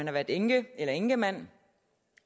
har været enke eller enkemand